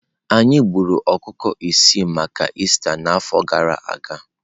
Anyị gburu ọkụkọ ise maka Ista n'afọ gara aga.